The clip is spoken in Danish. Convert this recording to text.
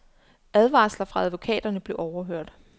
Advarsler fra advokater blev overhørt.